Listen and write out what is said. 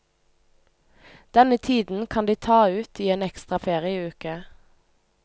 Denne tiden kan de ta ut i en ekstra ferieuke.